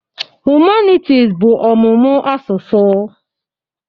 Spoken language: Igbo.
Humanities bụ ọmụmụ asụsụ.